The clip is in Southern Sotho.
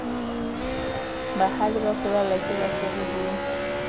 bahale ba furallwa kebasadi ho